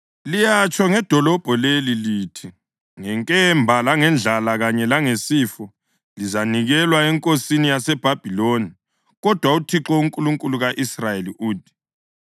Liyatsho ngedolobho leli lithi, ‘Ngenkemba, langendlala kanye langesifo lizanikelwa eNkosini yaseBhabhiloni’; kodwa uThixo, uNkulunkulu ka-Israyeli uthi: